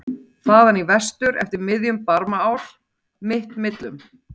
. þaðan í vestur eftir miðjum Barmaál mitt millum?